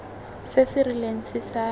se se rileng se sa